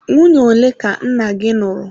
Nwunye ole ka nna gị lụrụ?